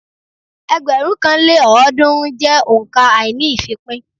Ẹgbẹ̀rún kan lé ọ́ọ̀dúnrún jẹ́ òǹkà àíní-ìfípín